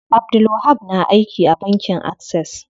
Abdulwahab na aiki a bankin Access.